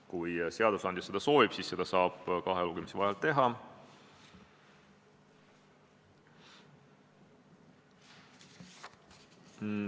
Kui seadusandja seda soovib, siis saab seda kahe lugemise vahel teha.